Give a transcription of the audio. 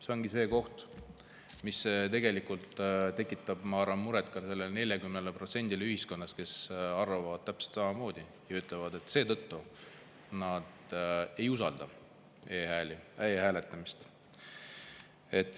See ongi see koht, mis tegelikult tekitab muret ilmselt ka sellele 40%-le ühiskonnast, kes arvavad täpselt samamoodi ja ütlevad, et seetõttu nad ei usalda e-hääli, e-hääletamist.